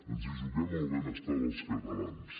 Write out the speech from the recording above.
ens hi juguem el benestar dels catalans